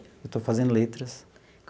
Eu estou fazendo letras.